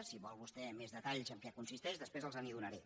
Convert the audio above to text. si vol vostè més detalls de en què consisteix després els li donaré